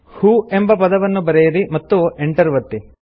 who ಎಂಬ ಪದವನ್ನು ಬರೆಯಿರಿ ಮತ್ತು ಎಂಟರ್ ಒತ್ತಿ